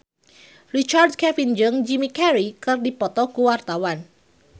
Richard Kevin jeung Jim Carey keur dipoto ku wartawan